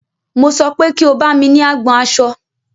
Mo sọ pé kí o bámi ní agbọn aṣọ!